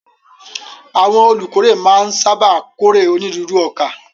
Àwọn olùkórè máa ń sáábà kórè onírúurú ọkà.